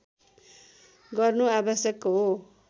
गर्नु आवश्यक हो